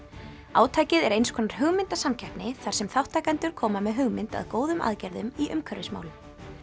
átakið er eins konar hugmyndasamkeppni þar sem þátttakendur koma með hugmynd að góðum aðgerðum í umhverfismálum